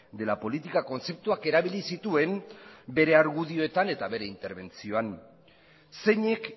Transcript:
de la política kontzeptuak erabili zituen bere argudioetan eta bere interbentzioan zeinek